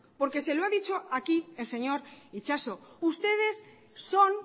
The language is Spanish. porque se lo ha dicho aquí el señor itxaso ustedes son